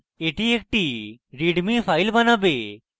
এটি একটি readme file বানাবে